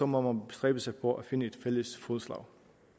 må man bestræbe sig på at finde et fælles fodslag